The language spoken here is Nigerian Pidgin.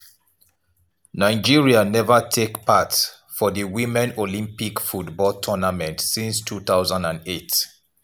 nigeria neva take part for di women olympic football tournament since 2008.